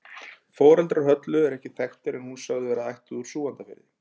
Foreldrar Höllu eru ekki þekktir en hún er sögð vera ættuð úr Súgandafirði.